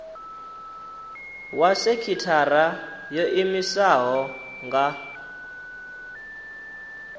wa sekithara yo iimisaho nga